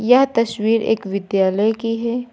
यह तस्वीर एक विद्यालय की है।